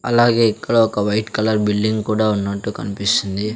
అలాగే ఇక్కడ ఒక వైట్ కలర్ బిల్డింగ్ కూడా ఉన్నట్టు కనిపిస్తుంది.